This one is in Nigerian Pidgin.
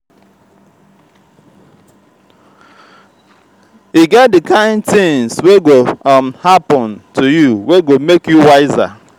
e get di kain tins wey go um happen to you wey go make you wiser.